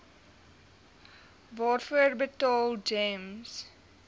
waarvoor betaal gems